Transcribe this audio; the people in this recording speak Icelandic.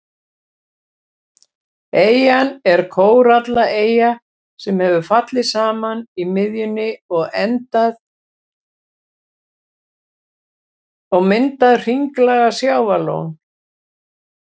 Eyjan er kórallaeyja sem hefur fallið saman í miðjunni og myndað hringlaga sjávarlón.